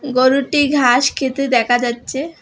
গরুটি ঘাস খেতে দেখা যাচ্ছে।